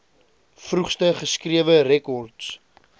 vroegste geskrewe rekords